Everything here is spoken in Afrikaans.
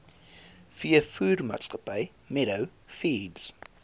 veevoermaatskappy meadow feeds